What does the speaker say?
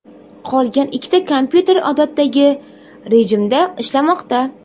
Qolgan ikkita kompyuter odatdagi rejimda ishlamoqda.